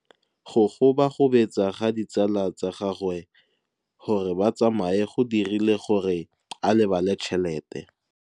Go gobagobetsa ga ditsala tsa gagwe, gore ba tsamaye go dirile gore a lebale tšhelete.